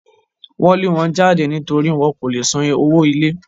Wọ́n lé wọn jáde nítorí wọn kò lè san owó ilé